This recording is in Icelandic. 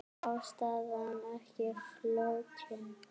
Ástæðan ekki flókin.